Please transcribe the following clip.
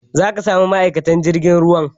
Za ka sami ma'aikatan jirgin ruwan